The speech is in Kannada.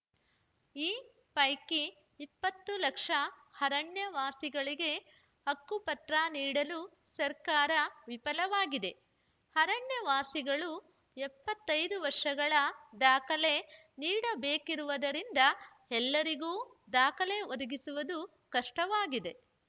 ಈ ಪೈಕಿ ಇಪ್ಪತ್ತು ಲಕ್ಷ ಅರಣ್ಯವಾಸಿಗಳಿಗೆ ಹಕ್ಕುಪತ್ರ ನೀಡಲು ಸರ್ಕಾರ ವಿಫಲವಾಗಿದೆ ಅರಣ್ಯವಾಸಿಗಳು ಎಪ್ಪತ್ತೈದು ವರ್ಷಗಳ ದಾಖಲೆ ನೀಡಬೇಕಿರುವುದರಿಂದ ಎಲ್ಲರಿಗೂ ದಾಖಲೆ ಒದಗಿಸುವುದು ಕಷ್ಟವಾಗಿದೆ